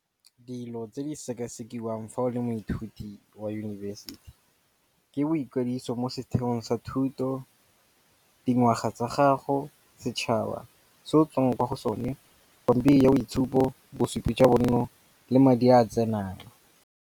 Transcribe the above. Dilo tse di sekasekiwa eng fa o le moithuti wa yunibesiti ke boikwadiso mo setheong sa thuto, dingwaga tsa gago, setšhaba se o tswang kwa go sone, pampiri ya boitshupo, bosupi jwa bonno le madi a a tsenang.